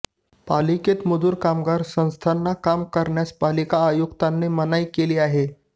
पालिकेत मजूर कामगार संस्थांना काम करण्यास पालिका आयुक्तांनी मनाई केली आहे